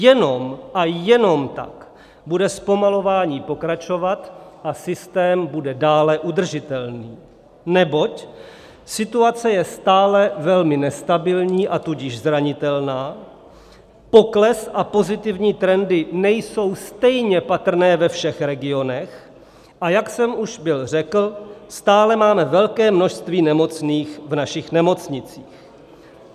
Jenom a jenom tak bude zpomalování pokračovat a systém bude dále udržitelný, neboť situace je stále velmi nestabilní, a tudíž zranitelná, pokles a pozitivní trendy nejsou stejně patrné ve všech regionech, a jak jsem už byl řekl, stále máme velké množství nemocných v našich nemocnicích.